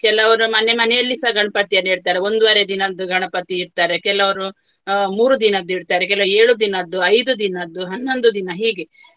ಕೆಲವರು ಮನೆ ಮನೆಯಲ್ಲಿಸ ಗಣಪತಿಯನ್ನು ಇಡ್ತಾರೆ ಒಂದುವರೆ ದಿನದ್ದು ಗಣಪತಿ ಇಡ್ತಾರೆ. ಕೆಲವರು ಅಹ್ ಮೂರು ದಿನದ್ದು ಇಡ್ತಾರೆ. ಕೆಲವು ಏಳು ದಿನದ್ದು ಐದು ದಿನದ್ದು ಹನ್ನೊಂದು ದಿನ ಹೀಗೆ